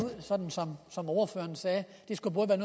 så ordføreren sagde